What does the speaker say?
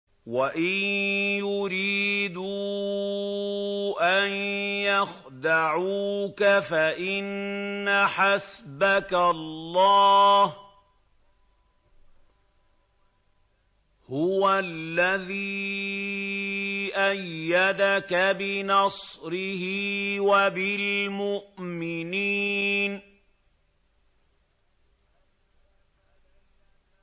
وَإِن يُرِيدُوا أَن يَخْدَعُوكَ فَإِنَّ حَسْبَكَ اللَّهُ ۚ هُوَ الَّذِي أَيَّدَكَ بِنَصْرِهِ وَبِالْمُؤْمِنِينَ